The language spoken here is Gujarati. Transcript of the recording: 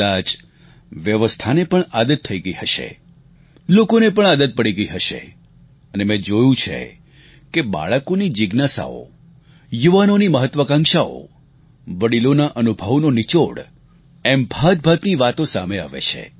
કદાચ વ્યવસ્થાને પણ આદત થઈ ગઈ હશે લોકોને પણ આદત પડી ગઈ હશે અને મેં જોયું છે કે બાળકોની જીજ્ઞાસાઓ યુવાનોની મહાત્વાકાંક્ષાઓ વડિલોના અનુભવનો નિચોડ એમ ભાતભાતની વાતો સામે આવે છે